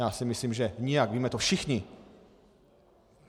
Já si myslím že nijak, víme to všichni.